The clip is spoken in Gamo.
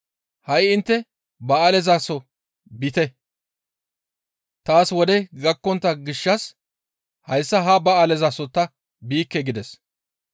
Ha7i intte ba7aalezaso biite; taas wodey gakkontta gishshas hayssa ha ba7aalezaso ta biikke» gides.